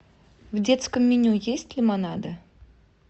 в детском меню есть лимонады